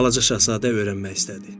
Balaca şahzadə öyrənmək istədi.